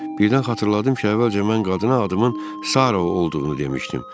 Birdən xatırladım ki, əvvəlcə mən qadına adımın Sara olduğunu demişdim.